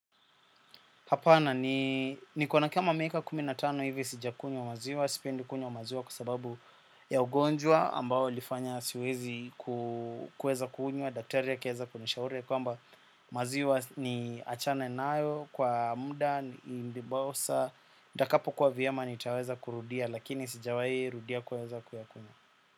Hapana ni niko na kama miaka kumi na tano hivi sijakunywa maziwa, sipendi kunywa maziwa kwa sababu ya ugonjwa ambao ulifanya siwezi kueza kunywa, daktari akaeza kunishauri ya kwamba maziwa niachane nayo kwa mda, indibosa, ndakapo kuwa vyema nitaweza kurudia lakini sijawai rudia kueza kuyakunywa.